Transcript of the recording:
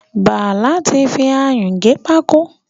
Bàlá ti fi ayún gé pákó.